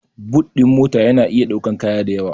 But ɗin mota ya na iya ɗaukan kaya dayawa